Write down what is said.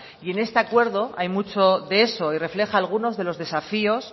y en este acuerdo hay mucho de eso y refleja algunos de los desafíos